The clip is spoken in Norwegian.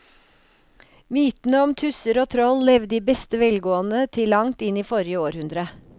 Mytene om tusser og troll levde i beste velgående til langt inn i forrige århundre.